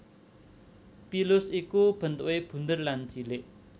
Pilus iku bentukè bunder lan cilik